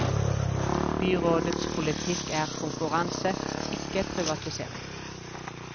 Byrådets politikk er konkurranse, ikke privatisering.